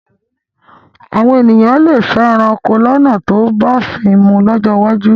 Àwọn èèyàn lè fẹ́ ẹranko lọ́nà tó bófin mu lọ́jọ́ iwájú